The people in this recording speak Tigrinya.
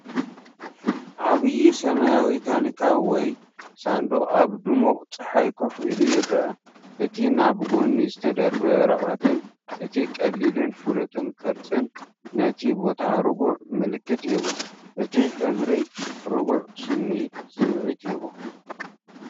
ዓብይ ሰማያዊ ታንኪ ወይ ሳንዱቕ ኣብ ድሙቕ ጸሓይ ኮፍ ኢሉ ይረአ። እቲ ናብ ጎኒ ዝተደርበየ ወረቐትን እቲ ቀሊልን ፍሉጥን ቅርጽን ነቲ ቦታ ርጉእ መልክዕ ይህቦ፤ እቲ ሕብሪ ርጉእ ስምዒት ይህቦ።